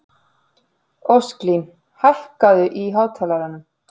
Ósklín, hækkaðu í hátalaranum.